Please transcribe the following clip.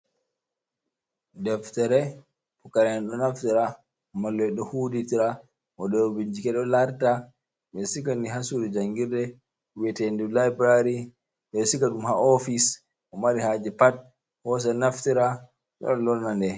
Deftare pucaraɓe ɗo naftira, mallum en ɗo hutinira, waɗoɓe bincike ɗo larta, ɓe sigi nde ha sudu jangirde wetendu library, ɗe sikadum ha ofice, mo mari haje pat hos naftira lora lorna nde.